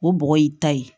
O bɔgɔ y'i ta ye